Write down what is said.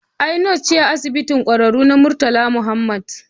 Ai nas ce a Asibitin Ƙwararru na Murtala Mohammed